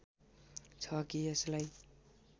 छ कि यसलाई